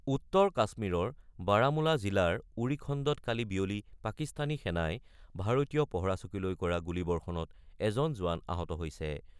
উত্তৰ কাশ্মীৰৰ বাৰামুলা জিলাৰ উৰি খণ্ডত কালি বিয়লি পাকিস্তানী সেনাই ভাৰতীয় পহৰাচকীলৈ কৰা গুলীবৰ্ষণত এজন জোৱান আহত হৈছে।